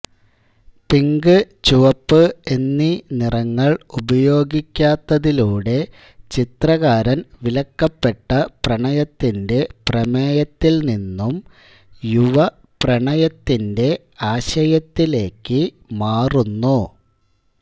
pink ചുവപ്പ് എന്നീ നിറങ്ങൾ ഉപയോഗിക്കാത്തതിലൂടെ ചിത്രകാരൻ വിലക്കപ്പെട്ട പ്രണയത്തിന്റെ പ്രമേയത്തിൽ നിന്നും യുവ പ്രണയത്തിന്റെ ആശയത്തിലേക്ക് മാറുന്നു